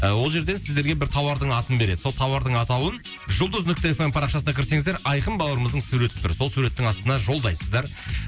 ол жерден сіздерге бір тауардың атын береді сол тауардың атауын жұлдыз нүкте эф эм парақшасына кірсеңіздер айқын бауырымыздың суреті тұр сол суреттің астына жолдайсыздар